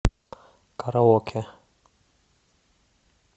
караоке